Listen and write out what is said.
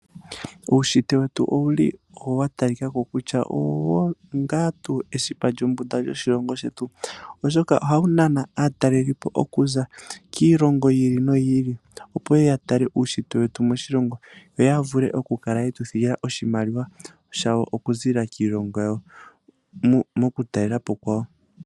Uushitwe wetu owuli wa talikako kutya onga esipa lyombunda lyoshilongo shetu, oshoka ohamu nana aatalelipo okuza kiilongo yiili no yiili, opo yee ya tale uushitwe wetu moshilongo, yo ya vule oku kala yetu thigila oshimaliwa shawo oku zilila kiilongo yawo, moku talelapo kwawo.